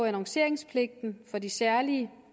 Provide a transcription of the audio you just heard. annonceringspligten for de særlige